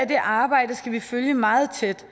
det arbejde skal vi følge meget tæt